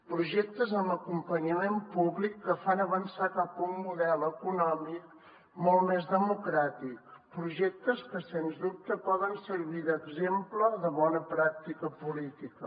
projectes amb acompanyament públic que fan avançar cap a un model econòmic molt més democràtic projectes que sens dubte poden servir d’exemple de bona pràctica política